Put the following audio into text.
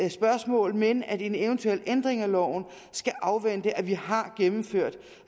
spørgsmål men at en eventuel ændring af loven skal afvente at vi har gennemført